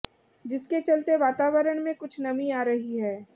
जिसके चलते वातावरण में कुछ नमी आ रही है